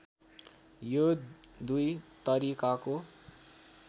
यो दुई तरिकाको